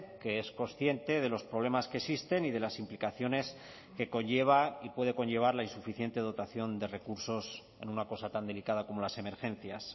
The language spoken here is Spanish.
que es consciente de los problemas que existen y de las implicaciones que conlleva y puede conllevar la insuficiente dotación de recursos en una cosa tan delicada como las emergencias